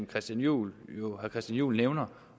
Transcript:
christian juhl jo nævner